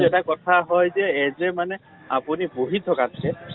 এটা কথা হয় যে এ যে আপুনি বহি থকাতকে